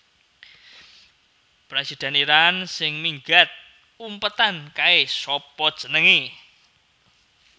Presiden Iran sing minggat umpetan kae sapa jenenge?